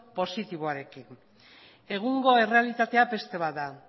positiboarekin egungo errealitatea beste bat da